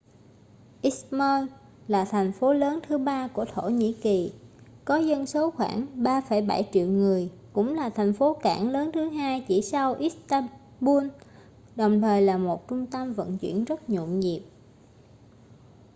izmir là thành phố lớn thứ ba của thổ nhĩ kỳ có dân số khoảng 3,7 triệu người cũng là thành phố cảng lớn thứ hai chỉ sau istanbul đồng thời là một trung tâm vận chuyển rất nhộn nhịp